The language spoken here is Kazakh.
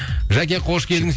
жәке қош келдіңіз